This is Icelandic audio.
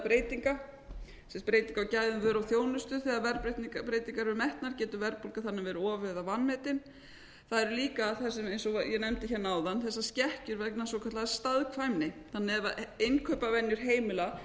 breytinga sem sagt breyting á gæðum vöru og þjónustu þegar verðbreytingar eru metnar getur verðbólga þannig verið of eða vanmetin það eru líka eins og ég nefndi hérna áðan þessar skekkjur vegna svokallaðs staðkvæmni þannig að ef innkaupavenjur heimila